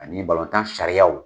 Ani balontan sariyaw.